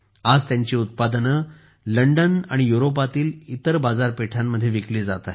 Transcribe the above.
आज त्यांची उत्पादने लंडन आणि युरोपातील इतर बाजारपेठांमध्ये विकली जात आहेत